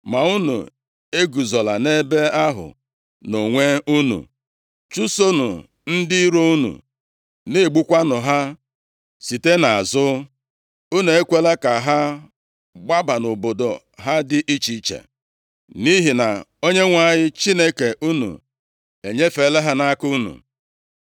Ma unu eguzola nʼebe ahụ nʼonwe unu, chụsonụ ndị iro unu, na-egbukwanụ ha site nʼazụ. Unu ekwela ka ha gbaba nʼobodo ha dị iche iche, nʼihi na Onyenwe anyị Chineke unu enyefeela ha nʼaka unu.”